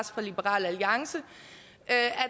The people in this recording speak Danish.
fra liberal alliance